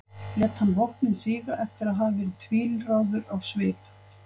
lét hann vopnið síga eftir að hafa verið tvílráður á svip